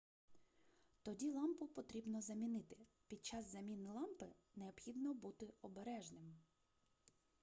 тоді лампу потрібно замінити під час заміни лампи необхідно бути обережним